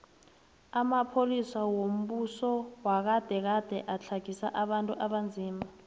amapolisa wombuso wagade gade atlagisa abantu abanzima